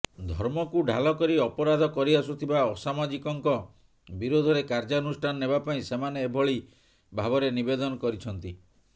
ଧର୍ମକୁ ଢାଲ କରି ଅପରାଧ କରିଆସୁଥିବା ଅସାମାଜିକଙ୍କ ବିରୋଧରେ କାର୍ଯ୍ୟାନୁଷ୍ଠାନ ନେବାପାଇଁ ସେମାନେ ଏଭଳି ଭାବରେ ନିବେଦନ କରିଛନ୍ତି